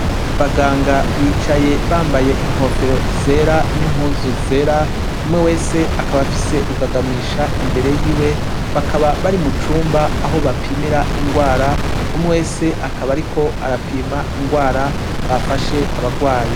Abaganga bicaye bambaye inkofero zera n’impuzu zera, umwe wese akab’afise rugagamisha imbere yiwe , bakaba bari mucumba aho bapimira ingwara, umwe wese akabar’iko arapima ingwara bafashe abagwayi.